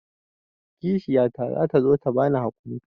Kishiyata za ta zo ta bani haƙuri.